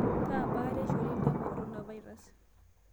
Kaa baata eishoru ltamoyia le korona virus